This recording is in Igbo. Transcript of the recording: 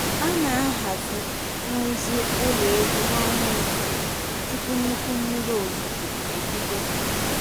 A na-ahazi nrụzi ụlọ ehi na ọnwa isii tupu nnukwu mmiri ozuzo ebido.